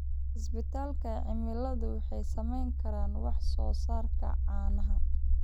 Isbedelka cimiladu wuxuu saameyn karaa wax-soo-saarka caanaha.